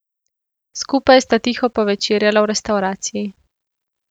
Skupaj sta tiho povečerjala v restavraciji.